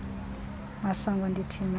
masango ndithi makhe